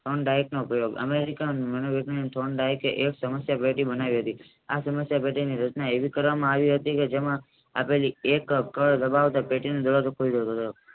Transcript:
ટ્રોન ડાયટનો પ્રયોગ અમેરિકાની ટ્રોન ડાયટ એ સામાસય થી બનાવ્યું છે આ સમસ્યા છે તેની ઘટના એવી કરવામાં હતી કે જેમાં આપેલી એક પ્રોટીન